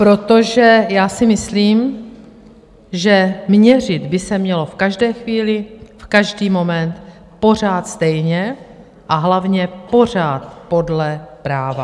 Protože já si myslím, že měřit by se mělo v každé chvíli, v každý moment pořád stejně, a hlavně pořád podle práva.